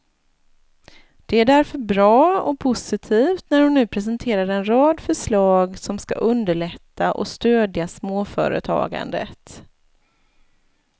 Det är därför bra och positivt när hon nu presenterar en rad förslag som skall underlätta och stödja småföretagandet.